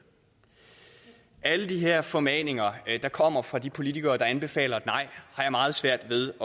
alle de her formaninger der kommer fra de politikere der anbefaler et nej har jeg meget svært ved at